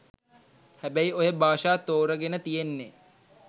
හැබැයි ඔය භාෂා තෝරගෙන තියෙන්නෙ